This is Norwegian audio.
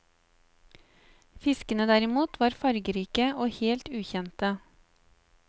Fiskene derimot var fargerike og helt ukjente.